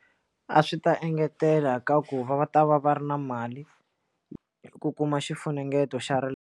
A swi ta engetela ka ku va va ta va va ri na mali ku kuma xifunengeto xa ra.